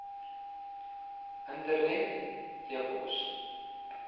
internet e pos